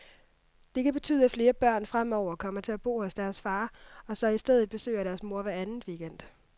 Det kan betyde, at flere børn fremover kommer til at bo hos deres far, og så i stedet besøger deres mor hver anden weekend.